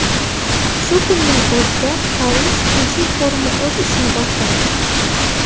Shu kunning o‘zida Parij tinchlik forumi o‘z ishini boshlaydi.